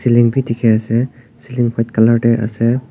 bi dikhi ase ceiling white colour teh ase.